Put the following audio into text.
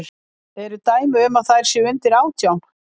Eru dæmi um að þær séu undir átján?